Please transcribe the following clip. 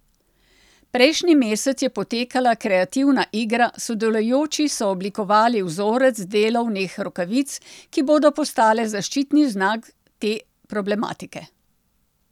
Prejšnji mesec je potekala kreativna igra, sodelujoči so oblikovali vzorec delovnih rokavic, ki bodo postale zaščitni znak te problematike.